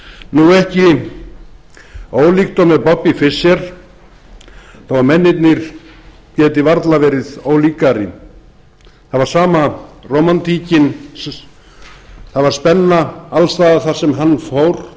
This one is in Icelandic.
hönd og ekki ólíkt og með bobby fischer þó að mennirnir geti varla verið ólíkari það var sama rómantíkin það var spenna alls staðar þar sem hann fór